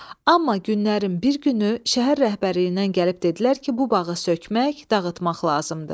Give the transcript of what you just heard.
Amma günlərin bir günü şəhər rəhbərliyindən gəlib dedilər ki, bu bağı sökmək, dağıtmaq lazımdır.